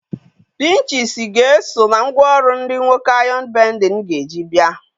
Pinchisi ga-eso na ngwaọrụ ndị nwoke ayọn bendịn ga-eji bịa.